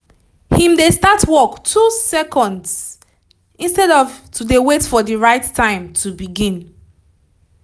him dey start work 2 seconds! instead of to dey wait for right time to begin